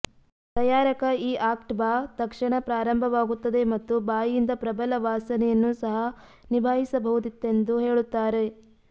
ತಯಾರಕ ಈ ಆಕ್ಟ್ ಬಾ ತಕ್ಷಣ ಪ್ರಾರಂಭವಾಗುತ್ತದೆ ಮತ್ತು ಬಾಯಿಯಿಂದ ಪ್ರಬಲ ವಾಸನೆಯನ್ನು ಸಹ ನಿಭಾಯಿಸಬಹುದಿತ್ತೆಂದು ಹೇಳುತ್ತಾರೆ